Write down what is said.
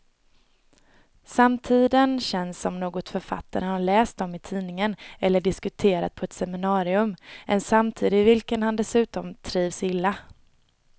Samtiden känns som något författaren har läst om i tidningen eller diskuterat på ett seminarium, en samtid i vilken han dessutom trivs illa.